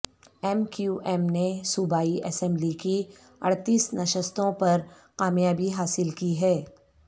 M Q M نے صوبائی assembly کی اڑتیس نشستوں پر کامیابی حاصل کی ہے